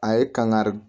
A ye kankari